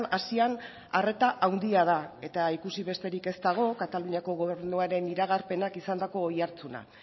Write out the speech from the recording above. asian arreta handia da eta ikusi besterik ez dago kataluniako gobernuaren iragarpenak izandako oihartzuna